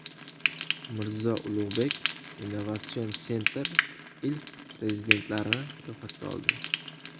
Mirzo Ulugbek Innovation Center ilk rezidentlarni ro‘yxatga oldi.